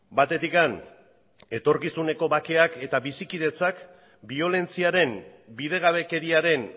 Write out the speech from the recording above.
batetik etorkizuneko bakeak eta bizikidetzak biolentziaren bidegabekeriaren